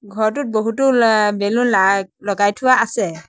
ঘৰটোত বহুতো লা বেলুন লাইক লগাই থোৱা আছে।